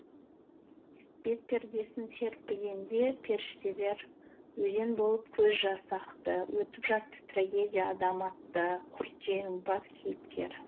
бет пердесін серпігенде періштелер өзен болып көз жасы ақты өтіп жатты трагедия адам атты құрт жеңімпаз кейіпкері